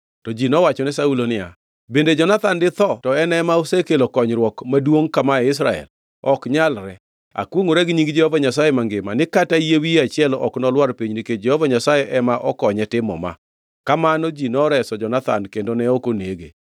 To ji nowachone Saulo niya, “Bende Jonathan ditho to en ema osekelo konyruok maduongʼ kama e Israel? Ok nyalre! Akwongʼora gi nying Jehova Nyasaye mangima ni kata yie wiye achiel ok nolwar piny nikech Jehova Nyasaye ema okonye timo ma.” Kamano ji noreso Jonathan kendo ne ok onege.